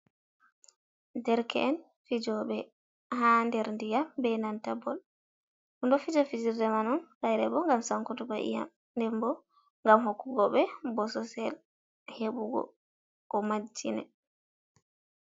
&erke'en fijo;e ha der diyam be nanta bol, ɗo fija fijirde man on hayre bo ngam sankotuggo iyam nden bo ngam hokkugo ɓe bososel heɓugo ko majjine.